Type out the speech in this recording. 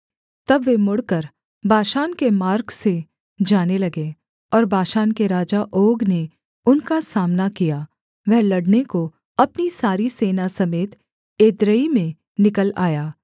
तब वे मुड़कर बाशान के मार्ग से जाने लगे और बाशान के राजा ओग ने उनका सामना किया वह लड़ने को अपनी सारी सेना समेत एद्रेई में निकल आया